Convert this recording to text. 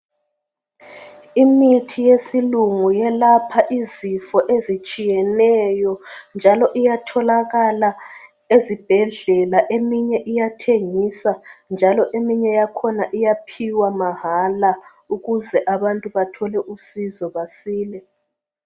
Imithi yesilungu elapha izifo ezitshiyeneyo njalo iyatholakala ezibhedlela eminye iyathengiswa njalo eminye yakhona iyaphiwa mahala ukuze abantu bathole usizo basile.